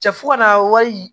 Cɛ fo ka na wali